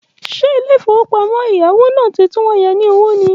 Ṣe ilé ìfowópamọ́ ẹ̀yáwó náà ti tún yá ni ní owó ni?